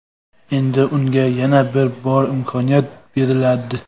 Endi unga yana bir bor imkoniyat beriladi.